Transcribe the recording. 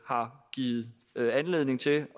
har givet mig anledning til